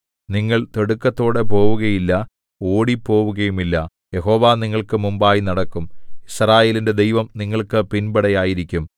നിങ്ങൾ തിടുക്കത്തോടെ പോവുകയില്ല ഓടിപ്പോവുകയുമില്ല യഹോവ നിങ്ങൾക്ക് മുമ്പായി നടക്കും യിസ്രായേലിന്റെ ദൈവം നിങ്ങൾക്ക് പിൻപട ആയിരിക്കും